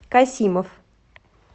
касимов